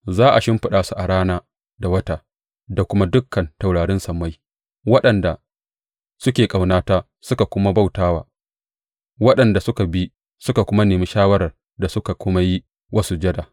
Za a shimfiɗa su a rana da wata da kuma dukan taurarin sammai, waɗanda suka ƙaunata suka kuma bauta wa, waɗanda suka bi suka nemi shawarar suka kuma yi wa sujada.